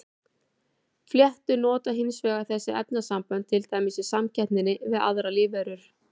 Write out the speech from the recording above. Fléttur nota hins vegar þessi efnasambönd til dæmis í samkeppninni við aðrar lífveru.